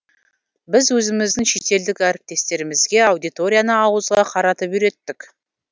біз өзіміздің шетелдік әріптестерімізге аудиторияны ауызға қаратып үйреттік